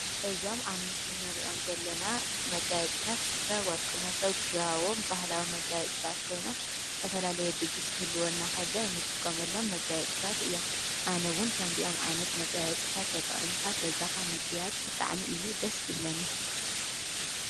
እዞም ኣብ ምስሊን ርእዮም ዘለና መጋየጽእታት ስፈ ወርቂ መሠው ግያቦም ባህላዊ መጋየት ጽጣት ኮይኖም ዝተፈላለየ ድግሥ ክህልወናኸሎ እንጥቆመሎም መጋየጽታት እዮም ኣነውን ከምዚኦም ዓይነት መጋየጽታት ኣጠቕምካ ገዛኻ ምገያጽ ብጣዕሚ እዩ ደስ ዝብለኒ